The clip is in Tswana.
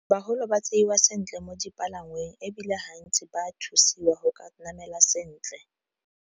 baholo ba tseiwa sentle mo dipalangweng, ebile hantsi ba thusiwa go ka namela sentle.